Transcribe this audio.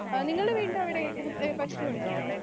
Speaker 2 ആഹ് നിങ്ങൾടെ വീടിൻ്റെ അവിടെ ഏഹ് പശുവുണ്ടോ?